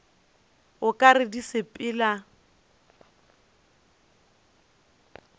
o ka re di sepela